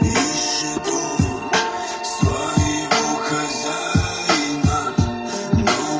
вики